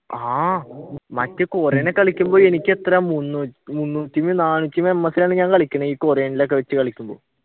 ആഹ് മറ്റേ കൊറിയൻ ഒക്കെ കളിക്കുമ്പോൾ എനിക്കെത്രയാ മുന്നൂറ്റി നാനൂറ്റി ms ലാണ് ഞാൻ കളിക്കുന്നത് ഈ കൊറിയനിൽ ഒക്കെ വെച്ച് കളിക്കുമ്പോൾ